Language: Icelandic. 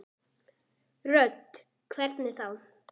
Hödd: Hvernig þá?